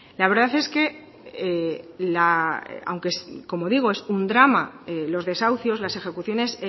la verdad es que aunque como digo es un drama los desahucios las ejecuciones